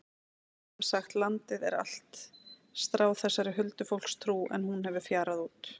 Sem sagt, landið er allt stráð þessari huldufólkstrú en hún hefur fjarað út.